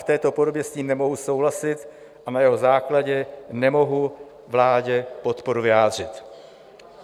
V této podobě s ním nemohu souhlasit a na jeho základě nemohu vládě podporu vyjádřit.